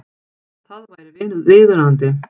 Það væri viðunandi